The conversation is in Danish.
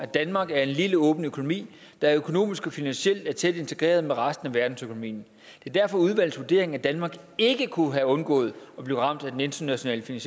danmark er en lille åben økonomi der økonomisk og finansielt er tæt integreret med resten af verdensøkonomien det er derfor udvalgets vurdering at danmark ikke kunne have undgået at blive ramt af den internationale